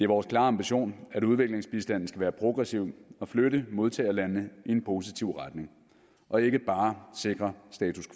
vores klare ambition at udviklingsbistanden skal være progressiv og flytte modtagerlandene i en positiv retning og ikke bare sikre status